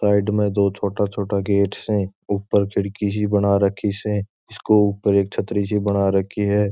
साइड में दो छोटा छोटा गेट से ऊपर खिड़की सी बना राखी से इसके ऊपर एक छत्री सी बना रखी है।